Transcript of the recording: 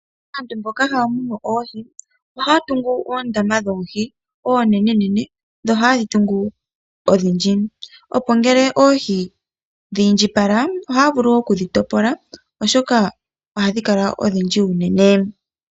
Aantu mboka haya munu oohi ohaya tungu oondama dhoohi oonenenene, dho ohaye dhi tungu odhindji. Opo ngele oohi dha indjipala oha vulu wo okudhi topola oshoka ohahi kala odhindji unene